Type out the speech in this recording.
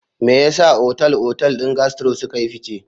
Me yasa Otal-otal din Gastro suka yi fice?